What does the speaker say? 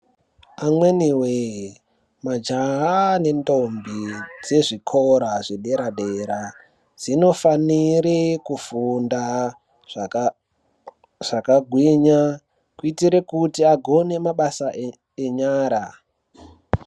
Amweni wee majaha nendombi dzezvikora zveedera dera dzinofanira kufunda zvakagwinya kuitira kuti agone mabasa enyara.